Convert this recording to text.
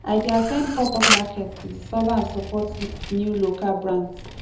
i dey at ten d popup markets to discover and support new local brands